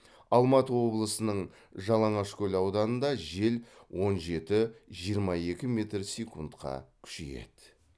алматы облысының жалаңашкөл ауданында жел он жеті жиырма екі метр секундқа күшейеді